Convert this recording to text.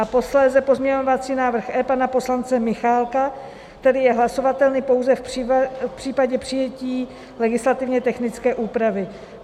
A posléze pozměňovací návrh E pana poslance Michálka, který je hlasovatelný pouze v případě přijetí legislativně technické úpravy.